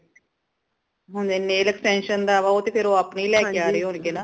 ਹੁਣ nail extension ਦਾ ਉਹ ਤੇ ਫੇਰ ਉਹ ਆਪਣੀ ਲੈ ਕੇ ਆ ਰੇ ਹੋਣਗੇ ਨਾ